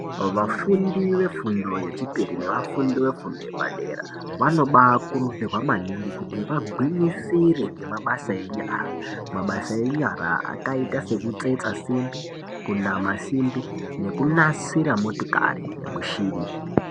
Vafundi vefundo yechipiri nevafundi vefundo yepadera, vanoba kurudzirwa maningi kuti vabwiyisire ngemabasa enyara. Mabasa enyara akaita sekutsetsa simbi, kunama simbi nekunasira motikari mushini.